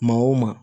Maa o maa